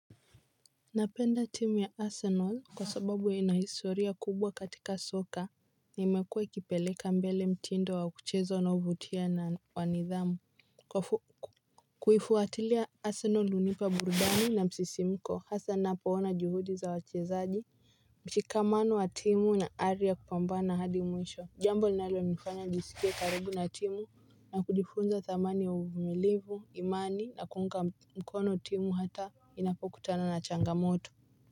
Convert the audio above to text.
Napenda timu ya Arsenal kwa sababu ya ina hisoria kubwa katika soka na imekuwa ikipeleka mbele mtindo wa kucheza unaovutia na wa nidhamu. Kuifuatilia Arsenal hunipa burudani na msisimko hasa ninapoona juhudi za wachezaji mshikamano wa timu na ari ya kupambana hadi mwisho jambo linalonifanya nijiskie karibu na timu na kujifunza thamani ya umilivu imani na kuunga mkono timu hata inapokutana na changamoto.